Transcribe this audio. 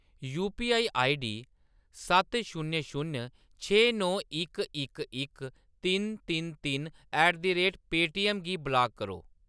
UPI ID सत्त शून्य शून्य छे नौ इक इक इक तिन तिन तिन ऐट द रेट पेटीएम गी ब्लाक करो।